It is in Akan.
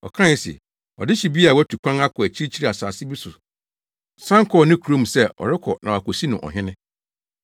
Ɔkae se, “Ɔdehye bi a watu kwan akɔ akyirikyiri asase bi so san kɔɔ ne kurom se ɔrekɔ na wɔakosi no ɔhene.